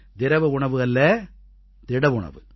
திரவ உணவு அல்ல திடஉணவு